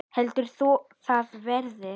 Heldur þú að það verði?